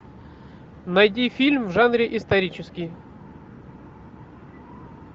найди фильм в жанре исторический